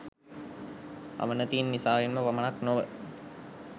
අවනතීන් නිසාවෙන්ම පමණක් නොව